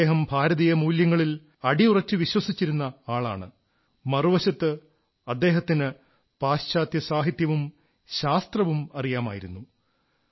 അദ്ദേഹം ഭാരതീയ മൂല്യങ്ങളിൽ അടിയുറച്ചു വിശ്വസിച്ചിരുന്ന ആളാണ് മറുവശത്ത് അദ്ദേഹത്തിന് പാശ്ചാത്യ സാഹിത്യവും ശാസ്ത്രവും അറിയാമായിരുന്നു